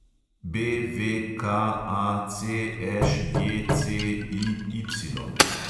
BVKACŠJCIY